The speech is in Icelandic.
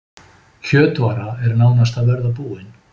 Kjötvara er nánast að verða búin